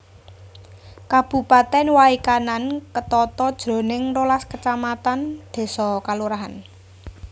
Kabupatèn Way Kanan ketata jroning rolas kacamatan désa/kalurahan